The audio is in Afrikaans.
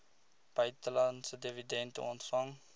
buitelandse dividende ontvang